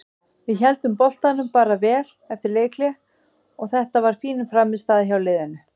Við héldum boltanum bara vel eftir leikhlé og þetta var fín frammistaða hjá liðinu.